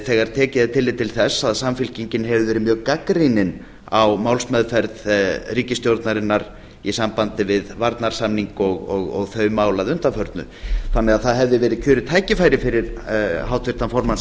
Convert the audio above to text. þegar tekið er tillit til þess að samfylkingin hefur verið mjög gagnrýnin á málsmeðferð ríkisstjórnarinnar í sambandi við varnarsamning og þau mál að undanförnu þannig að það hefði verið kjörið tækifæri fyrir háttvirtan formann